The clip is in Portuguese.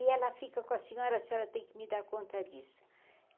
E ela fica com a senhora, a senhora tem que me dar conta disso.